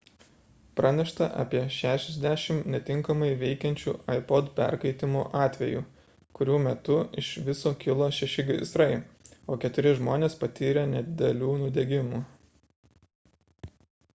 pranešta apie 60 netinkamai veikiančių ipod perkaitimo atvejų kurių metu iš viso kilo šeši gaisrai o keturi žmonės patyrė nedidelių nudegimų